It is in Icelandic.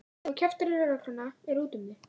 Ef þú kjaftar í lögregluna er úti um þig.